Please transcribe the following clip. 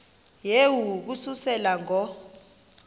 yehu ukususela ngo